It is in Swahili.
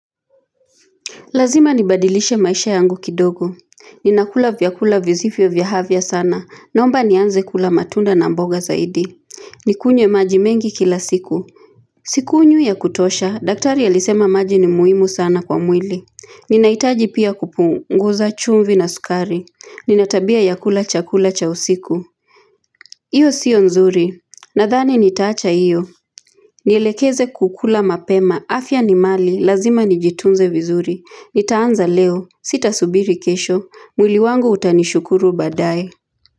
Lazima nibadilishe maisha yangu kidogo. Ninakula vyakula visivyo vya afya sana. Naomba nianze kula matunda na mboga zaidi. Nikunywe maji mengi kila siku. Sikunywi ya kutosha, daktari alisema maji ni muhimu sana kwa mwili. Ninahitaji pia kupunguza chumvi na sukari. Nina tabia ya kula chakula cha usiku. Hiyo sio nzuri. Nadhani nitaacha hiyo. Nielekeze kukula mapema. Afya ni mali. Lazima nijitunze vizuri. Nitaanza leo. Sitasubiri kesho. Mwili wangu utanishukuru baadaye.